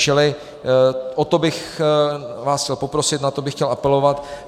Čili o to bych vás chtěl poprosit, na to bych chtěl apelovat.